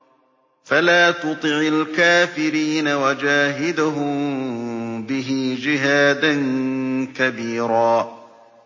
فَلَا تُطِعِ الْكَافِرِينَ وَجَاهِدْهُم بِهِ جِهَادًا كَبِيرًا